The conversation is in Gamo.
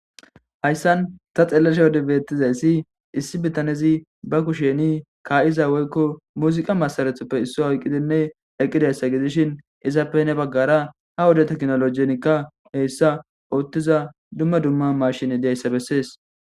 Hayssan ta xeelesha yodebeetizayssi issi bitanezi ba kusheni ka'iza woykko muziqa masarethoppe isso oyqqidinne eqqidayssa gidishin izappe ne baggara ha woda teknolojenikka heyssa oottiza dumma dumma mashini deyssa bessees.